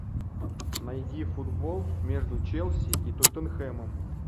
найди футбол между челси и тоттенхэмом